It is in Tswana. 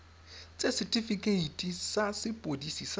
ts setifikeite sa sepodisi sa